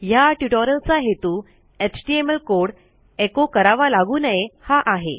ह्या ट्युटोरियलचा हेतू एचटीएमएल कोड echoकरावा लागू नये हा आहे